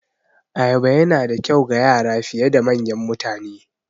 Ayaba Yana da kyau ga Yara fiye da manyan mutane